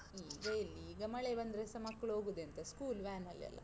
ಈಗ ಎಲ್ಲಿ? ಈಗ ಮಳೆ ಬಂದ್ರೆಸ ಮಕ್ಳ್ ಹೋಗುದೆಂತ school van ಅಲ್ಲಿ ಅಲಾ?